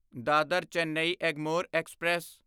Dadar Chennai Egmore express